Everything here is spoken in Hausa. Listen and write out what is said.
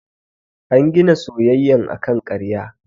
An gina soyayyan akan karya.